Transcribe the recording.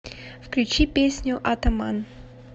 включи песню атаман